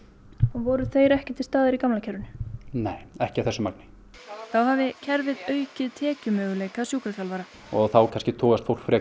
voru þeir ekki til staðar í gamla kerfinu nei ekki í þessu magni þá hafi kerfið aukið tekjumöguleika sjúkraþjálfara og þá kannski togast fólk frekar